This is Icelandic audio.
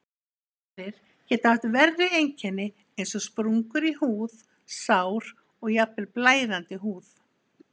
Aðrir geta haft verri einkenni eins og sprungur í húð, sár og jafnvel blæðandi húð.